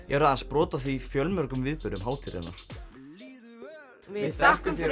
eru aðeins brot af fjölmörgum viðburðum hátíðarinnar við þökkum fyrir